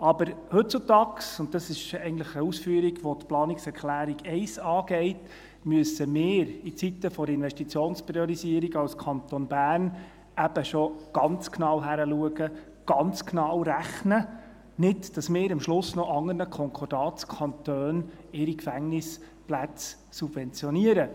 Aber heutzutage – und dies ist eigentlich eine Ausführung, welche die Planungserklärung 1 angeht – müssen wir in Zeiten der Investitionspriorisierung als Kanton Bern eben schon ganz genau hinschauen und ganz genau rechnen, damit wir nicht am Schluss noch die Gefängnisplätze anderer Konkordatskantone subventionieren.